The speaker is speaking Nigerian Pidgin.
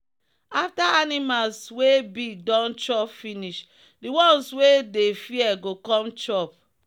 after animals wey big don chop finish the ones wey dey fear go come chop.